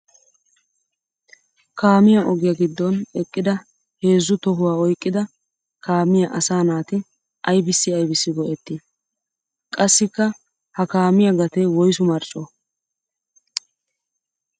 Kaamiya ogiya giddon eqqidda heezzu tohuwa oyqqidda kaamiya asaa naati aybbissi aybbissi go'etti? Qassikka ha kaamiya gate woyssu marcco ?